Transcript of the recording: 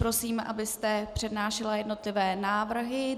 Prosím, abyste přednášela jednotlivé návrhy.